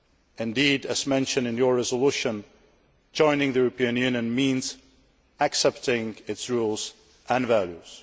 Indeed, as mentioned in your resolution, joining the European Union means accepting its rules and values.